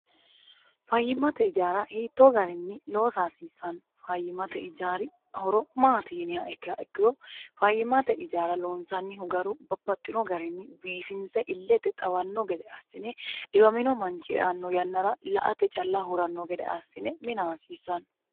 fayyimmate ijaara hiittoo garinni loosa hasiissanno fayyimate ijaari horo maati yiniha ikkiha ikkiro fayyimate ijaara lonsannihu garu babbaxxino garinni biifinse illete xawanno gede assine dhiwamino manchi eanno yannara la ate calla huranno gede assine mina hasiissanno